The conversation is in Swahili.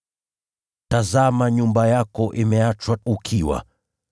Tazama nyumba yenu imeachwa ukiwa.